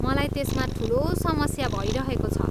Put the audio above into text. मलाई त्यसमा ठुलो समस्या भइरहेको छ।